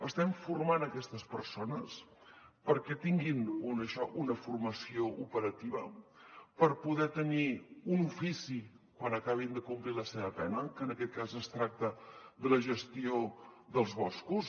estem formant aquestes persones perquè tinguin una formació operativa per poder tenir un ofici quan acabin de complir la seva pena que en aquest cas es tracta de la gestió dels boscos